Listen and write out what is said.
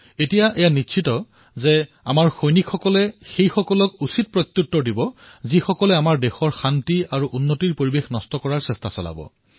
এতিয়া সিদ্ধান্ত গ্ৰহণ কৰা হৈছে যে আমাৰ সৈন্যই সেই সকলোকে প্ৰত্যুত্তৰ দিব যিসকলে আমাৰ ৰাষ্ট্ৰৰ শান্তি আৰু উন্নতিৰ পৰিৱেশ নষ্ট কৰাৰ প্ৰয়াস কৰিব